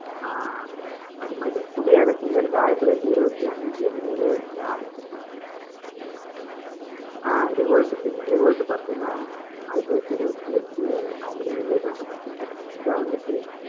ஆஹ் அஹ் அது மாதிரி குடியரசுங்கறது, ஆயிரத்தி தொள்ளாயிரத்தி இருபத்தி அஞ்சு மேலே ஆரம்பிச்சிருக்காங்க ஆஹ் revolt தெரியும். revolt பாத்தீங்கன்னா, ஆயிரத்து தொள்ளாயிரத்து இருபத்து எட்டு நவம்பர் ஏழுலேயே தொடங்கப்பட்டிருக்கு. இதான் வந்துட்டு